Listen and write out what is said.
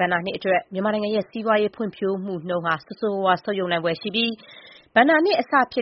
ဘဏ္ဍာနှစ်အတွက် မြန်မာနိုင်ငံရဲ့ စီးပွားရေးဖွံ့ဖြိုးမှုနှုန်း ဆိုးဆိုးရွားရွား ဆုတ်ယုတ်နိုင်ဖွယ်ရှိပြီး ဒီနှစ်ဘဏ္ဍာနှစ်အစ ဧပြီ